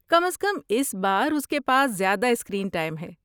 کم از کم اس بار اس کے پاس زیادہ اسکرین ٹائم ہے۔